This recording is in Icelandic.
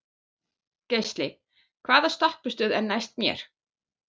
Geisli, hvaða stoppistöð er næst mér?